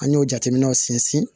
An y'o jateminɛw sinsin